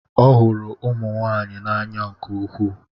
Ọ hụrụ ụmụ nwanyị n'anya nke ukwuu.